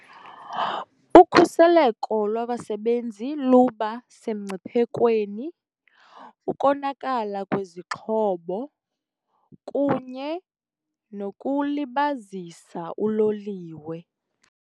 Ukhuseleko lwabasebenzi luba semngciphekweni, ukonakala kwezixhobo kunye nokulibazisa uloliwe.